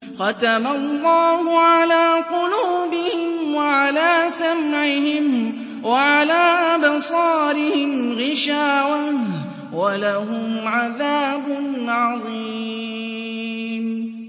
خَتَمَ اللَّهُ عَلَىٰ قُلُوبِهِمْ وَعَلَىٰ سَمْعِهِمْ ۖ وَعَلَىٰ أَبْصَارِهِمْ غِشَاوَةٌ ۖ وَلَهُمْ عَذَابٌ عَظِيمٌ